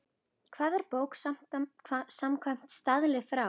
Hvað er bók samkvæmt staðli frá